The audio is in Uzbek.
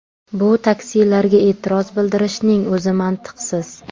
Bu taksilarga e’tiroz bildirishning o‘zi mantiqsiz.